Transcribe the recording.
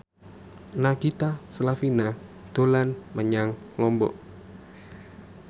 Nagita Slavina dolan menyang Lombok